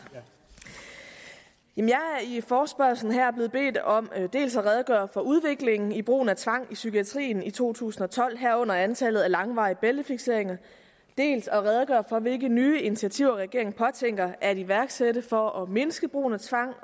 jeg er i forespørgslen her blevet bedt om dels at redegøre for udviklingen i brugen af tvang i psykiatrien i to tusind og tolv herunder antallet af langvarige bæltefikseringer dels at redegøre for hvilke nye initiativer regeringen påtænker at iværksætte for at mindske brugen af tvang